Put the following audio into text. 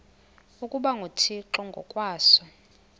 ukuba nguthixo ngokwaso